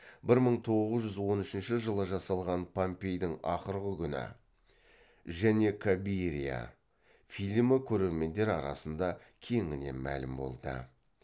бір мың тоғыз жүз он үшінші жылы жасалған помпейдің ақырғы күні және кабирия фильмі көрермендер арасында кеңінен мәлім болды